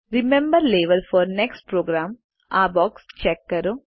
remember level for next programme આ box check કરો